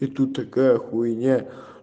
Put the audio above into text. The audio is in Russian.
и тут такая хуйня